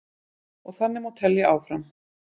Og þannig má telja áfram.